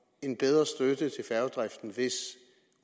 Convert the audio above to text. en bedre støtte til færgedriften hvis